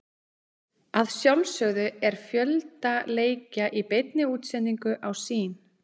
Að sjálfsögðu er fjölda leikja í beinni útsendingu á Sýn.